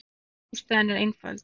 Ástæðan er einföld.